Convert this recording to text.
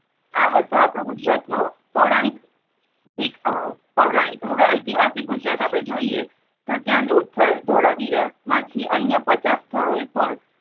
આ હતું આપણા ગુજરાત નું પૌરાણિક ~આહ પૌરાણિક. હવે એતિહાસિક ગુજરાત જોઈએ તો ત્યાં લોથલ ધોલાવીરા માંથી અન્ય પચાસ સ્થળો એ પણ